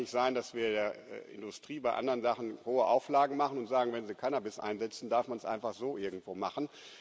Es kann doch nicht sein, dass wir der Industrie bei anderen Sachen hohe Auflagen machen und sagen, wenn sie Cannabis einsetzen, darf man es einfach so irgendwo machen.